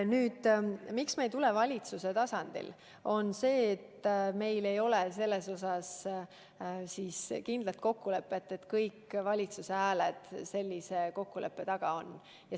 Põhjus, miks me ei tule välja valitsuse tasandil eelnõuga, on see, et meil ei ole kindlat kokkulepet, et kõik valitsuse hääled selle taga on.